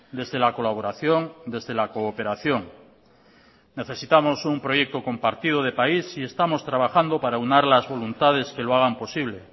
desde la colaboración desde la cooperación necesitamos un proyecto compartido de país y estamos trabajando para aunar las voluntades que lo hagan posible